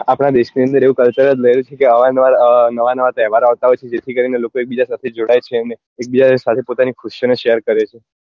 આપડા દેશ ની અંદર એવું culture જ રહેલું છે કે અવારનવાર અ નવા નવા તહેવાર ઓ આવતા હોય છે જેથી કરી ને લોકો એક બીજા ની સાથે જોડાય છે અને એક બીજા ની સાથે પોતાની ખુશીઓ ને share કરે છે